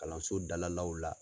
Kalanso dalalaw la.